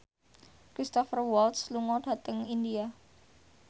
Cristhoper Waltz lunga dhateng India